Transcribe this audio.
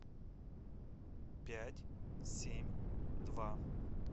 пять семь два